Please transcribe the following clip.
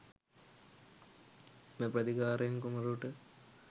"එම ප්‍රතිකාරයෙන් කුමරුට